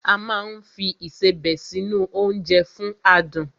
A máa ń fi Ìṣebẹ̀ sí nu oúnjẹ fún adùn